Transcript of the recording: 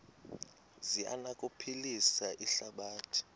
zi anokuphilisa ihlabathi